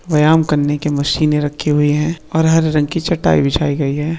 व्यायाम करने की मशीनें रखी हुई है और हरे रंग की चटाई बिछाई गई है।